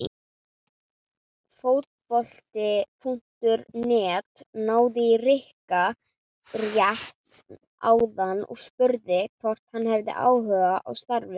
Fótbolti.net náði í Rikka rétt áðan og spurði hvort hann hefði áhuga á starfinu?